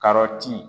Karɔti